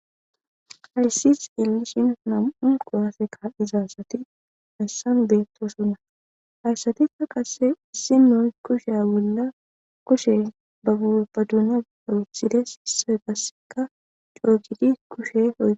Hayssa misileza bolla taasi beetizay aaze gizayssa giddiko woykko xeelishin dizayssi dumma dumma lo'iza miishata gidoyssi qoncce gididi dizayssa besees.